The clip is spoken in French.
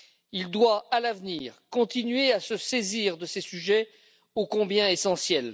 Il doit, à l'avenir, continuer à se saisir de ces sujets ô combien essentiels.